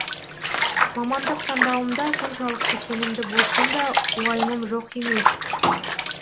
мамандық таңдауымда соншалықты сенімді болсам да уайымым жоқ емес